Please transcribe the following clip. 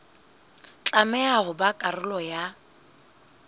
tlameha ho ba karolo ya